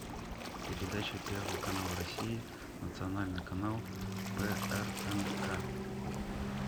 передача первый канал россии национальный канал прнк